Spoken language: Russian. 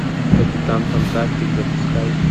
капитан фантастик запускай